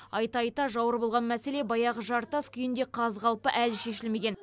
айта айта жауыр болған мәселе баяғы жартас күйінде қаз қалпы әлі шешілмеген